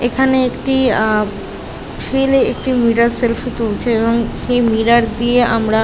এখানে একটি আ ছেলে একটি মিরার সালফি তুলছে এবং সেই মিরার দিয়ে আমরা --